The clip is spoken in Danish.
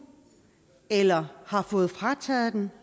eller har fået frataget den